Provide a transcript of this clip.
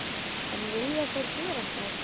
En vilja þeir gera það?